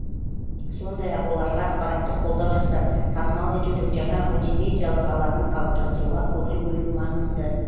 сондай ақ оларға ақпараттық қолдау жасап танымал етудің жаңа мультимедиалық алаңын қалыптастыруға көңіл бөлу маңызды